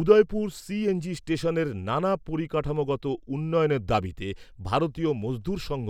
Udaipur CNG স্টেশনের নানা পরিকাঠামোগত উন্নয়নের দাবিতে ভারতীয় মজদুর সঙ্ঘ